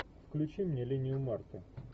включи мне линию марты